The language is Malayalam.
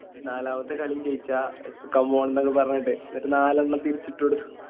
നാലാമത്തെ കളിയും ജയിച്ച Come on ന്നൊക്കെ പറഞ്ഞിട്ട് എന്നിട്ട് നാലെണ്ണം തിരിച്ചിട്ട് കൊടുത്തു